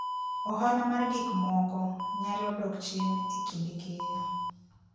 Ohala mar gik moko nyalo dok chien e kinde keyo.